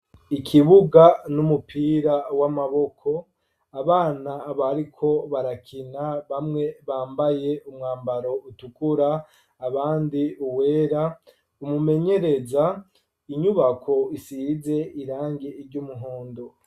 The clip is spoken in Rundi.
Ikibuga n'umupira w'amaboko abana abariko barakina bamwe bambaye umwambaro utukura abandi uwera umumenyereza inyubako isize irange iryo umuhondo.